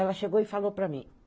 Ela chegou e falou para mim.